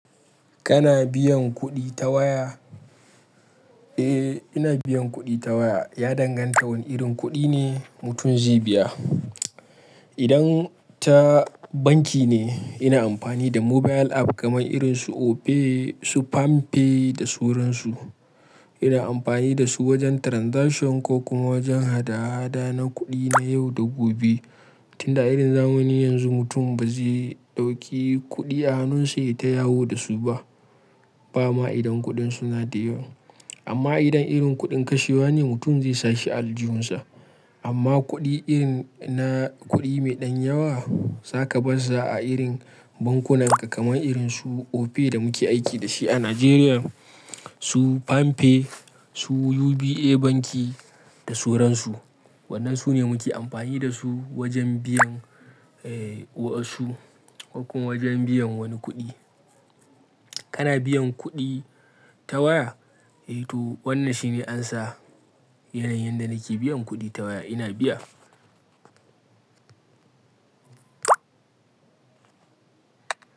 Kana biyan kuɗi ta waya? Eh, ina biyan kuɗi ta waya. Ya danganta wane irin kuɗi ne mutum zai biya. Idan ta banki ne, ina amfani da mobile app kaman irin su Opay, su PamPay da suransu. Ina amfani da su wajen transaction ko kuma wajen hada-hada na kuɗi na yau da gobe. Tunda irin zamani yanzu mutum ba zai ɗauki kuɗi a hannunsa ya tayawo da su ba. Ba ma idan kuɗin suna da yawa. Amma idan irin kuɗin kashewa ne, mutum zai sashi a aljihunsa. Amma kuɗi irin na kuɗi mai ɗan yawa, za ka bar sa a irin bankunan ka kamar irin su Opay da muke aiki dashi a Najeriya, su PamPay, su UBA Banki da soransu. Wannan su ne muke amfani da su wajen biyan, eh, wasu ko wajen biyan wani kuɗi. Kana biyan kuɗi ta waya? Eh to, wannan shine answer. Yanayin da nake biyan kuɗi ta waya ina biya.